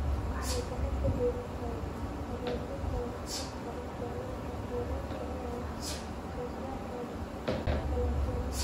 Waxay gacan ka geysataa hagaajinta waxtarka isticmaalka kheyraadka ee wax soo saarka dalagyada.